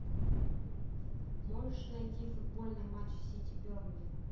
можешь найти футбольный матч сити бернли